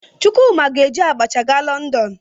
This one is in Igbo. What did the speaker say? Chukwuma ga-eji abacha gaa Lọndọn.